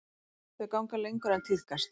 Þau ganga lengur en tíðkast.